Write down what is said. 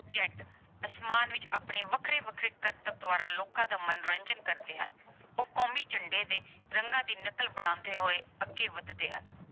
Jet ਅਸਮਾਨ ਵਿੱਚ ਆਪਣੇ ਵੱਖਰੇ-ਵੱਖਰੇ ਕਰਤਬਾਂ ਦੁਆਰਾ ਲੋਕਾਂ ਦਾ ਮਨੋਰੰਜਨ ਕਰਦੇ ਹਨ। ਉਹ ਕੌਮੀ ਝੰਡੇ ਦੇ ਰੰਗਾਂ ਦੀ ਨਕਲ ਬਣਾਉਂਦੇ ਹੋਏ ਅੱਗੇ ਵਧਦੇ ਹਨ।